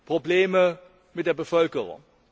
Probleme mit der Bevölkerung.